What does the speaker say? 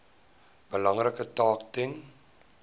belangrike taak ten